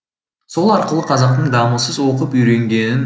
сол арқылы қазақтың дамылсыз оқып үйренгенін